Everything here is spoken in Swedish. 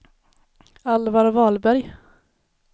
Alvar Wahlberg